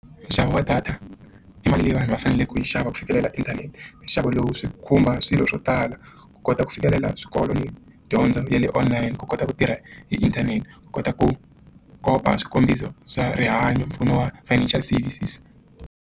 Nxavo wa data i mali leyi vanhu va faneleke ku yi xava ku fikelela inthanete nxavo lowu swi khumba swilo swo tala ku kota ku fikelela swikolo ni dyondzo ya le online ku kota ku tirha hi inthanete ku kota ku komba swikombiso swa rihanyo mpfuno wa financial services.